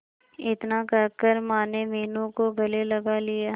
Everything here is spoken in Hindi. इतना कहकर माने मीनू को गले लगा लिया